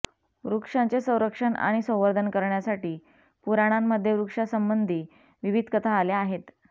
वृक्षांचे संरक्षण आणि संवर्धन करण्यासाठी पुराणांमध्ये वृक्षांसंबंधी विविध कथा आल्या आहेत